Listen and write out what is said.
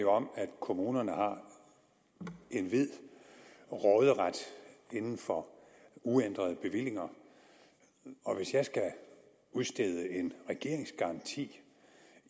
jo om at kommunerne har en vid råderet inden for uændrede bevillinger og hvis jeg skal udstede en regeringsgaranti